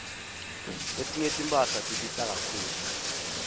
letinye timphahla tibita kakhulu